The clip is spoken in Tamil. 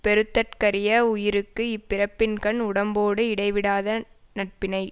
பெறுதற்கரிய வுயிர்க்கு இப்பிறப்பின்கண் உடம்போடு இடைவிடாத நட்பினை